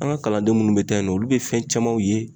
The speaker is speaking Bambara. An ka kalanden munnu be taa yen nɔ, olu be fɛn camanw ye